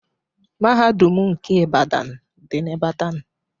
Mahadum nke Ibadan dị na Ibadan